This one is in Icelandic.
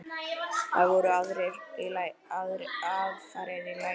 Það voru aðfarir í lagi!